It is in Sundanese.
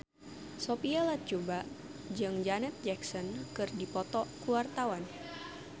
Sophia Latjuba jeung Janet Jackson keur dipoto ku wartawan